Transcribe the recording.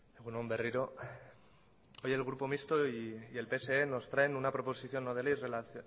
egun on berriro hoy el grupo mixto y el pse nos traen una proposición no de ley